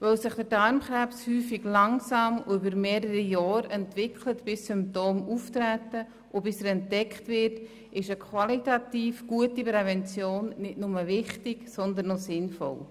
Weil sich Darmkrebs häufig langsam und über mehrere Jahre entwickelt, bis Symptome auftreten und er entdeckt wird, ist eine qualitativ gute Prävention nicht nur wichtig, sondern auch sinnvoll.